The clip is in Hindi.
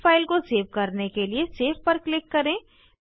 इस फाइल को सेव करने के लिए सेव पर क्लिक करें